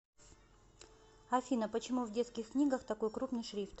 афина почему в детских книгах такой крупный шрифт